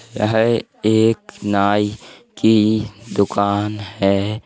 यह एक नाई की दुकान है।